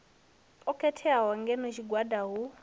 o khetheaho ngeno tshiga hu